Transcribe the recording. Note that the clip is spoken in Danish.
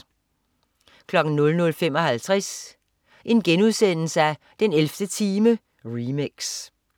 00.55 den 11. time remix*